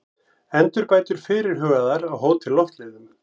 Endurbætur fyrirhugaðar á Hótel Loftleiðum